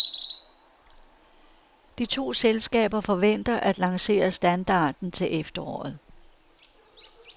De to selskaber forventer at lancere standarden til efteråret.